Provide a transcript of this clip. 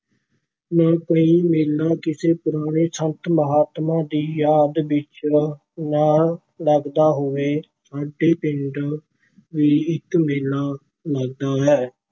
ਨਾ ਕੋਈ ਮਹੀਨਾ ਕਿਸੇ ਪੁਰਾਣੇ ਸੰਤ ਮਹਾਤਮਾ ਦੀ ਯਾਦ ਵਿੱਚ ਨਾਂ ਲੱਗਦਾ ਹੋਵੇ, ਸਾਡੇ ਪਿੰਡ ਵੀ ਇੱਕ ਮੇਲਾ ਲੱਗਦਾ ਹੈ।